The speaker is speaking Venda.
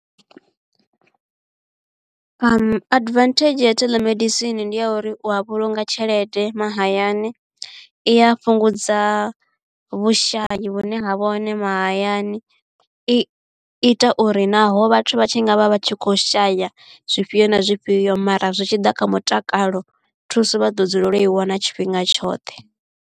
Adivanthedzhi ya theḽemedisini ndi ya uri u a vhulunga tshelede mahayani, i a fhungudza vhushai vhune ha vha hone mahayani, i ita uri naho vhathu vha tshi ngavha vha tshi kho shaya zwifhio na zwifhio mara zwi tshi ḓa kha mutakalo thuso vha ḓo dzulela u i wana tshifhinga tshoṱhe.